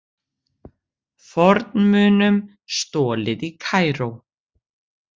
Fornmunum stolið í Kaíró